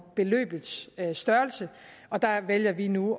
beløbets størrelse og der vælger vi nu